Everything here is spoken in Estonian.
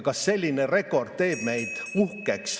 Kas selline rekord teeb meid uhkeks?